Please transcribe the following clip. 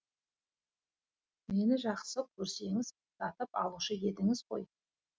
мені жақсы көрсеңіз сатып алушы едіңіз ғой